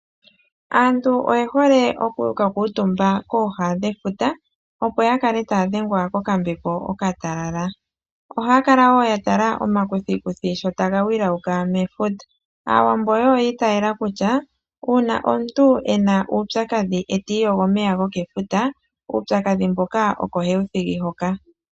Aantu oye hole oku kakuutumba kooha dhefuta opo yakale taadhengwa koka mbepo okatalala, ohaya kala wo yatala omakuthikuthi sho ta ga wilauka mefuta. Aawambo wo oyiitaala kutya, uuna omuntu ena uupyakadhi e ta iyogo omeya gomefuta uupyakadhi mboka oko he wu thigi ho ka.